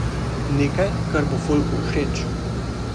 Nekaj, kar bo folku všeč.